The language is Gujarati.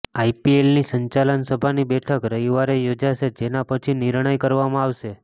આઈપીએલની સંચાલન સભાની બેઠક રવિવારે યોજાશે જેના પછી નિર્ણય કરવામાં આવશે